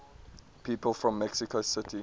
people from mexico city